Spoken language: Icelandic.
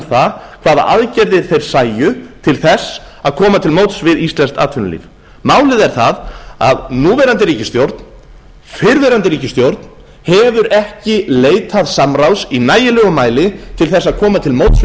það hvaða aðgerðir þeir sæju til þess að koma til móts við íslenskt atvinnulíf málið er það að núverandi ríkisstjórn fyrrverandi ríkisstjórn hefur ekki leitað samráðs í nægilegum mæli til þess að koma til móts við